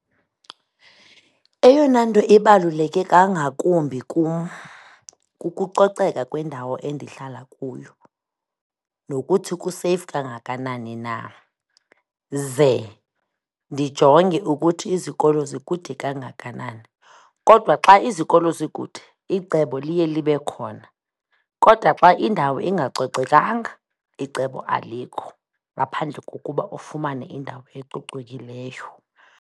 Eyona nto ibaluleke kangakumbi kum, kukucoceka kwendawo endihlala kuyo nokuthi kuseyifu kangakanani na, ze ndijonge ukuthi izikolo zikude kangakanani. Kodwa xa izikolo zikude, icebo liye libe khona, kodwa xa indawo ingacocekanga, icebo alikho ngaphandle kokuba ufumane indawo ecocekileyo.